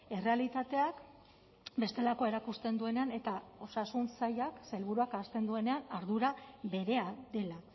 errealitateak bestelakoa erakusten duenean eta osasun sailak sailburuak ahazten duenean ardura berea dela